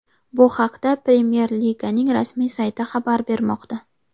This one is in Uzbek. Bu haqda Premyer Liganing rasmiy sayti xabar bermoqda .